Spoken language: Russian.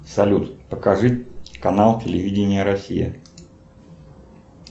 салют покажи канал телевидения россия